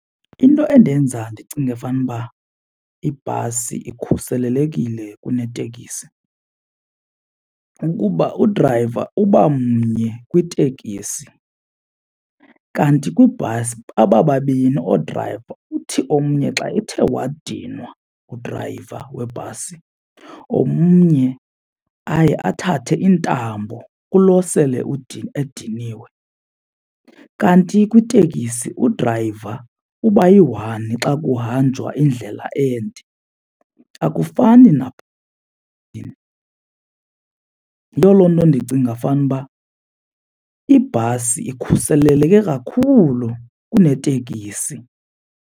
Into endenza ndicinge fanuba ibhasi ikhuselelekile kunetekisi kukuba udrayiva uba mnye kwitekisi kanti kwibhasi baba babini oodrayiva. Uthi omnye xa ethe wadinwa udrayiva webhasi omnye aye athathe iintambo kulo sele ediniwe. Kanti kwitekisi udrayiva uba yi-one xa kuhanjwa indlela ende akufani . Yiyo loo nto ndicinga fanuba ibhasi ikhuseleleke kakhulu kunetekisi.